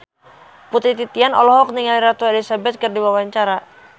Putri Titian olohok ningali Ratu Elizabeth keur diwawancara